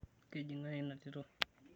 Keji ng'ae ena tito?